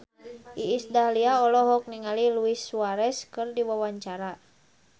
Iis Dahlia olohok ningali Luis Suarez keur diwawancara